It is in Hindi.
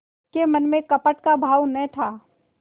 के मन में कपट का भाव न था